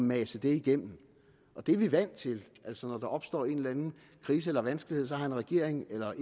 mase det igennem det er vi vant til altså når der opstår en eller anden krise eller vanskelighed har en regering eller